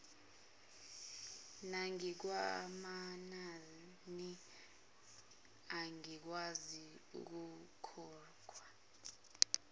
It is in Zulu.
nangokwamanani angakwazi ukukhokhwa